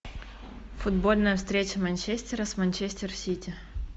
футбольная встреча манчестера с манчестер сити